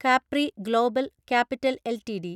Capri global capital LTD